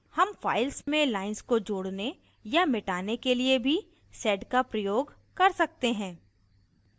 हम file में lines को जोड़ने या मिटाने के लिए भी sed का प्रयोग कर सकते हैं